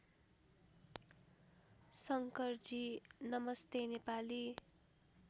शंकरजी नमस्ते नेपाली